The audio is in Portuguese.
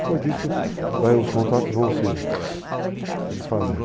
Depois disso, daí os contatos vão se, se desfazendo.